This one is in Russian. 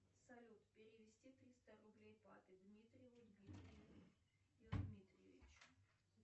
салют перевести триста рублей папе дмитриеву дмитрию дмитриевичу